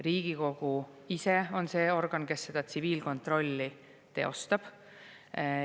Riigikogu ise on see organ, kes tsiviilkontrolli teostab.